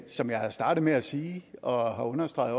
som jeg startede med at sige og også har